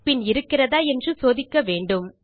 பின் இருக்கிறதா என்று சோதிக்க வேண்டும்